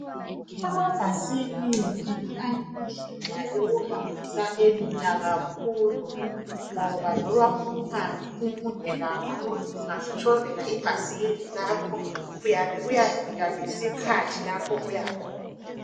Amabhasikili ayindlela yokuhambisa elula kakhulu ngoba, loba umango umude kakhulu ungazitshovela ibhayisikili lakho uyabe uyafika ngesikhathi lapho oyakhona.